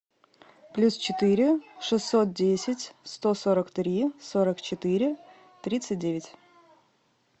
плюс четыре шестьсот десять сто сорок три сорок четыре тридцать девять